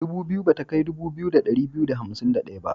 Dubu biyu ba ta kai dubu biyu da ɗari biyu da hamsin da ɗaya ba.